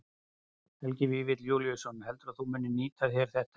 Helgi Vífill Júlíusson: Heldurðu að þú munir nýta þér þetta eitthvað?